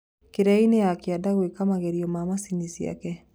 Kĩrĩainĩ ya kĩanda gũeka magerio ma macini ciake